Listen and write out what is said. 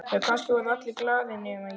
Já, kannski voru allir glaðir nema ég.